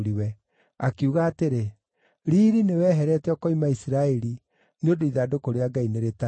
Akiuga atĩrĩ, “Riiri nĩweherete ũkoima Isiraeli, nĩ ũndũ ithandũkũ rĩa Ngai nĩrĩtahĩtwo.”